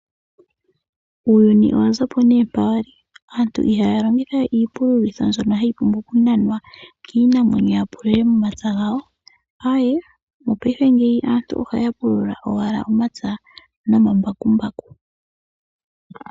Uuyuni owa zapo nee mpa wali, aantu ihaya longitha we iipululitho mbyono hayi pumbwa okunanwa kiinamwenyo ya pulule momapya gawo, Aee! Mopaife ngeyi aantu ohaya pulula owala omapya nomambakumbaku.